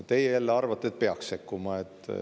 Teie jälle arvate, et peaks sekkuma.